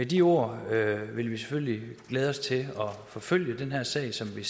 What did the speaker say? de ord vil vi selvfølgelig glæde os til at forfølge den her sag som vi